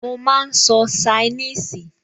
Mo máa n sọ ṣainíìsì